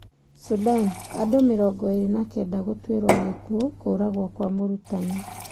Sudan: andũ mĩrongo ĩrĩ na kenda gũtwĩro gĩkuũ kũragwo kwa mũrutani.